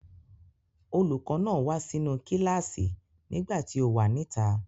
Olùkọ́ náà wá sínú kíláàsì nìgbà tí o wà níta.